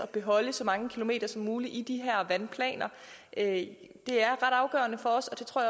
bevare så mange kilometer vandløb som muligt i de her vandplaner det er ret afgørende for os og det tror